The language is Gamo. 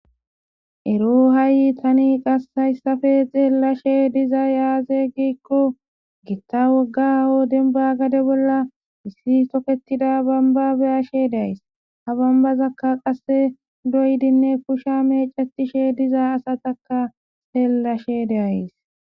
ero ha7i tani qass hayssafe xeellashe dizayaaze giikko gittha woggao denba gade bolla issi toketida bambabeyashe days ha bambazakka qasse doydinne pushsha mecetishe diza asataka seellashe deays